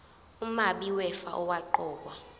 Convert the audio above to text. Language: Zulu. umabi wefa owaqokwa